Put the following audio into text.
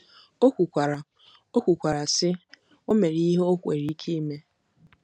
O kwukwara, O kwukwara, sị: “O mere ihe o nwere ike ime.